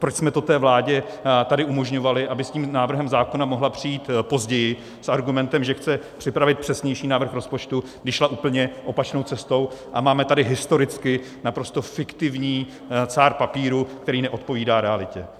Proč jsme to té vládě tady umožňovali, aby s tím návrhem zákona mohla přijít později s argumentem, že chce připravit přesnější návrh rozpočtu, když šla úplně opačnou cestou, a máme tady historicky naprosto fiktivní cár papíru, který neodpovídá realitě.